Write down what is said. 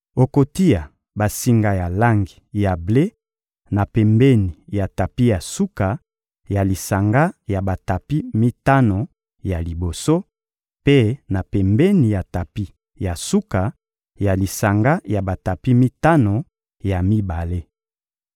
Okotia basinga ya langi ya ble na pembeni ya tapi ya suka ya lisanga ya batapi mitano ya liboso, mpe na pembeni ya tapi ya suka ya lisanga ya batapi mitano ya mibale.